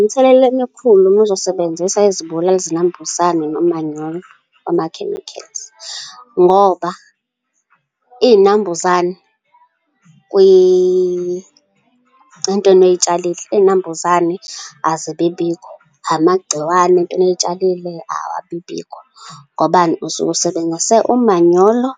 Imithelela emikhulu uma uzosebenzisa izibulali zinambuzane nomanyolo ama-chemicals, ngoba iy'nambuzane entweni oy'tshalile, iy'nambuzane azibibikho, amagciwane entweni oy'tshalile, awabibikho. Ngobani? Usuke usebenzise umanyolo